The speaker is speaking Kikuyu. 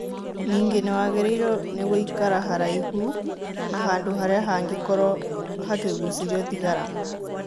Ningĩ nĩwagĩrĩirwo nĩ gũikara haraihu na handũ harĩa hangĩkorwo hakĩgucĩrio thigara